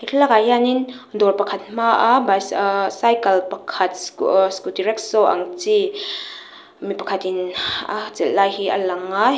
he thlalakah hianin dawr pakhat hmaa bi aaah cycle pakhat sco ooh scooty rickshow ang chi mipakhat in a chelh lai hi a lang a he --